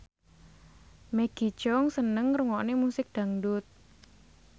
Maggie Cheung seneng ngrungokne musik dangdut